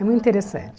É muito interessante.